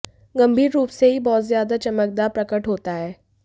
गंभीर रूप से ही बहुत ज्यादा चमकदार प्रकट होता है